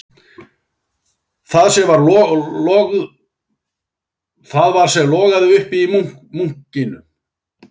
Það var sem logaði upp í munkinum